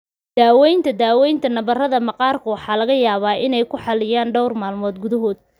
Daawaynta daawaynta, nabarrada maqaarku waxa laga yaabaa inay ku xaliyaan dhawr maalmood gudahood.